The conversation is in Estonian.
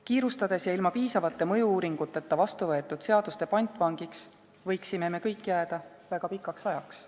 Kiirustades ja ilma piisavate mõju-uuringuteta vastu võetud seaduste pantvangiks võiksime me kõik jääda väga pikaks ajaks.